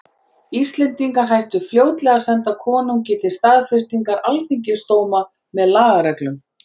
Íslendingar hættu fljótlega að senda konungi til staðfestingar alþingisdóma með lagareglum.